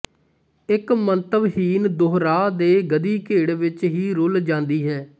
ਇਕ ਮੰਤਵਹੀਣ ਦੁਹਰਾਅ ਦੇ ਗਧੀਗੇੜ ਵਿਚ ਹੀ ਰੁਲ਼ ਜਾਂਦੀ ਹੈ